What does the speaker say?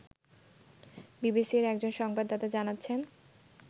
বিবিসির একজন সংবাদদাতা জানাচ্ছেন